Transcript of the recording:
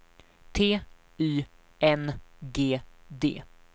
T Y N G D